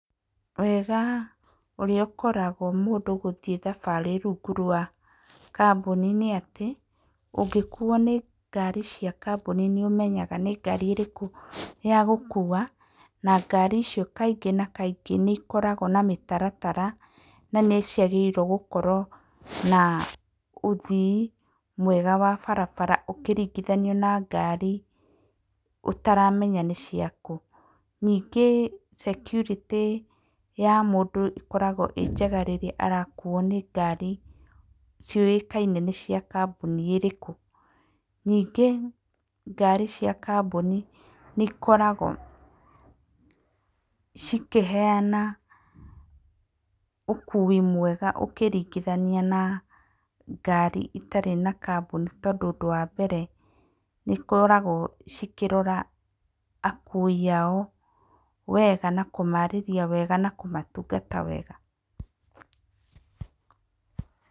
Wega ũrĩa ũkoragwo mũndũ gũthiĩ thabarĩ rungu rwa kamboni nĩ atĩ ũngĩkuo nĩ ngari cia kamboni nĩũmenyaga atĩ nĩ ngari ĩrĩkũ ya gũkua, na ngari icio kaingĩ na kaingĩ nĩikoragwo na mĩtaratara na nĩciagĩrĩirwo gũkorwo na ũthii mwega wa barabara ũkĩringithanio na ngari ũtaramenya nĩ cia kũũ. Ningĩ security ya mũndũ ĩkoragwo ĩrĩ njega rĩrĩa mũndũ arakuo nĩ ngari ciũĩkaine nĩcia kamboni ĩrĩkũ. Ningĩ ngari cia kamboni nĩikoragwo cikĩheyana ũkui mwega ũkĩringithania na ngari itarĩ na kamboni tondũ ũndũ wa mbere nĩikoragwo cikĩrora akui ao wega na kũmarĩria wega na kũmatungata wega.